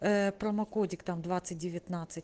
промокодик там двадцать девятнадцать